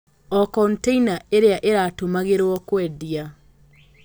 O container ĩrĩa ĩratũmagĩrũo kwendia